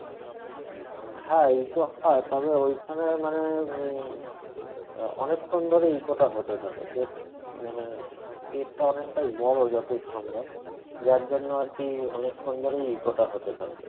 হ্যাঁ eco হয় তবে ওইখানে মানে উম আহ অনেকক্ষণ ধরে eco টা হতে থাকে বেশ মানে cave টা অনেকটাই বড়ো যতদূর সম্ভব যার জন্য আরকি অনেকক্ষণ ধরেই eco টা হতে থাকে